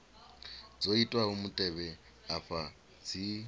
dzo itwaho mutevhe afha dzi